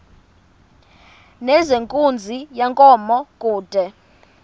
nezenkunzi yenkomo kude